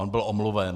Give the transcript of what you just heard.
On byl omluven.